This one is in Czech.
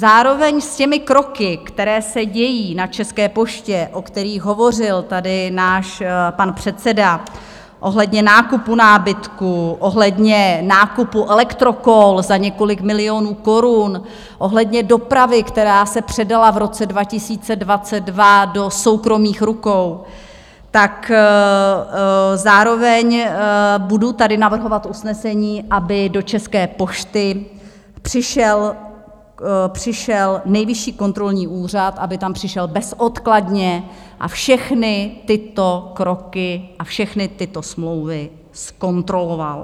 Zároveň s těmi kroky, které se dějí na České poště, o kterých hovořil tady náš pan předseda, ohledně nákupu nábytku, ohledně nákupu elektrokol za několik milionů korun, ohledně dopravy, která se předala v roce 2022 do soukromých rukou, tak zároveň tady budu navrhovat usnesení, aby do České pošty přišel Nejvyšší kontrolní úřad, aby tam přišel bezodkladně a všechny tyto kroky a všechny tyto smlouvy zkontroloval.